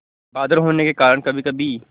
बादल होने के कारण कभीकभी